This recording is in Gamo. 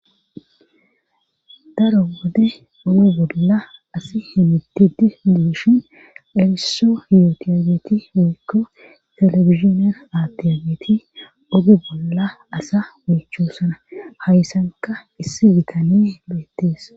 Daro wode oge bolla asi himitidi duushin erisso hiotiyageeti miikko telefiziner aatiyageeti ogu bolla asa miichosana hayssanka issi bitani beettees.